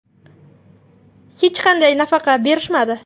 Hech qanday nafaqa berishmadi.